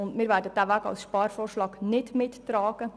Wir werden diesen Weg als Sparvorschlag nicht mittragen.